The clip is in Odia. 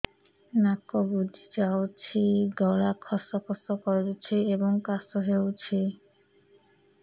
ନାକ ବୁଜି ଯାଉଛି ଗଳା ଖସ ଖସ କରୁଛି ଏବଂ କାଶ ହେଉଛି